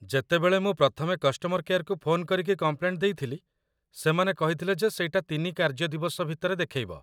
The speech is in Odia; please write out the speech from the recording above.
ଯେତେବେଳେ ମୁଁ ପ୍ରଥମେ କଷ୍ଟମର୍‌ କେୟାର୍‌‌କୁ ଫୋନ୍ କରିକି କମ୍ପ୍ଲେଣ୍ଟ ଦେଇଥିଲି, ସେମାନେ କହିଥିଲେ ଯେ ସେଇଟା ୩ କାର୍ଯ୍ୟ ଦିବସ ଭିତରେ ଦେଖେଇବ ।